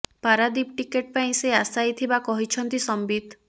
Paradip ticket ପାଇଁ ସେ ଆଶାୟୀ ଥିବା କହିଛନ୍ତି ସମ୍ବିତ